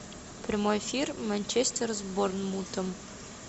прямой эфир манчестер с борнмутом